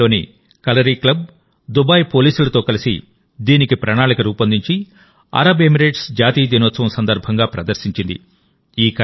Dubai లోని Kalari club Dubai పోలీసులతో కలిసి దీనికి ప్రణాళిక రూపొందించి అరబ్ ఎమిరేట్స్ జాతీయ దినోత్సవం సందర్భంగా ప్రదర్శించింది